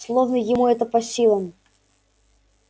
словно это ему по силам